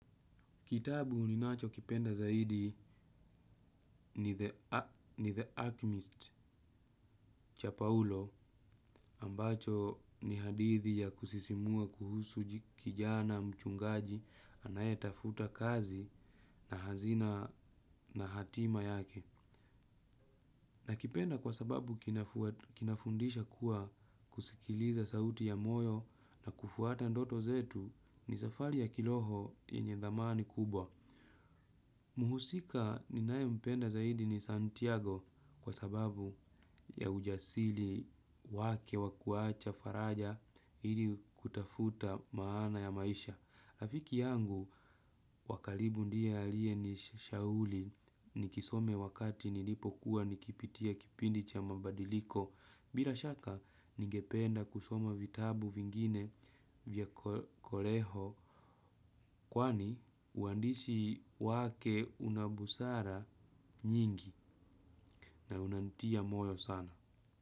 Kitabu ninachokipenda zaidi ni The Acmeist cha Paulo ambacho ni hadithi ya kusisimua kuhusu kijana mchungaji anayetafuta kazi na hazina na hatima yake. Nakipenda kwa sababu kinafundisha kuwa kusikiliza sauti ya moyo na kufuata ndoto zetu ni safari ya kiroho yenye dhamani kubwa. Muhusika ninayempenda zaidi ni Santiago kwa sababu ya ujasili wake wakuacha faraja ili kutafuta maana ya maisha. Rafiki yangu wakaribu ndiye aliye nishauri nikisome wakati nilipokuwa nikipitia kipindi cha mabadiliko. Bila shaka ningependa kusoma vitabu vingine vya koleho kwani uandishi wake una busara nyingi na unanitia moyo sana.